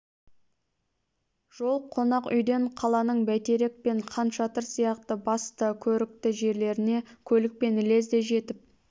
жол қонақ үйден қаланың бәйтерек пен хан шатыр сияқты басты көрікті жерлеріне көлікпен лезде жетіп